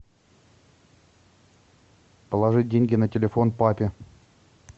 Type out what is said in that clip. положи деньги на телефон папе